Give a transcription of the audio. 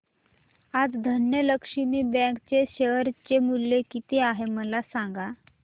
आज धनलक्ष्मी बँक चे शेअर चे मूल्य किती आहे मला सांगा